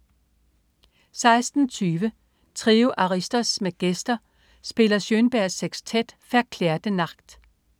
16.20 Trio Aristos med gæster spiller Schönbergs sekstet Verklärte Nacht